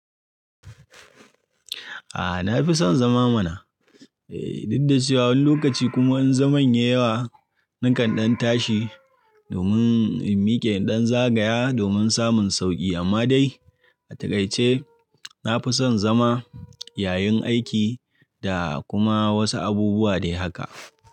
A'a, na fi son zama mana. Eh, duk da cewa wani lokaci kuma in zaman ya yi yawa, nakan ɗan tashi domin in miƙe ɗan zagaya domin samun sauƙi amma dai a takaice nafi son zama yayin aiki da kuma wasu abubuwa dai haka.